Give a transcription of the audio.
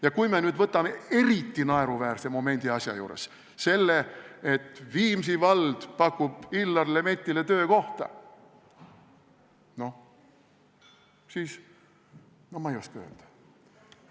Ja kui me nüüd võtame eriti naeruväärse momendi selle asja juures – selle, et Viimsi vald pakub Illar Lemettile töökohta –, no ma ei oska öelda.